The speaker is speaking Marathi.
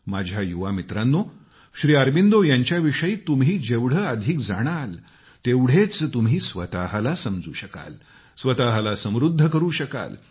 माझ्या युवा मित्रांनो श्री अरबिंदो यांच्याविषयी तुम्ही जेवढं अधिक जाणाल तेवढेच तुम्ही स्वतःला समजू शकाल स्वतःला समृद्ध करु शकाल